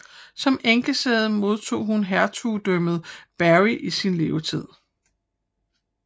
Som enkesæde modtog hun Hertugdømmet Berry i sin levetid